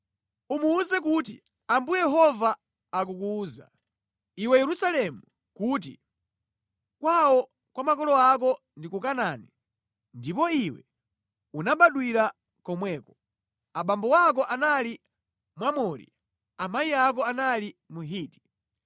Umuwuze kuti, ‘Ambuye Yehova akukuwuza, iwe Yerusalemu kuti: Kwawo kwa makolo ako ndi ku Kanaani ndipo iwe unabadwira komweko. Abambo ako anali Mwamori, amayi ako anali Mhiti.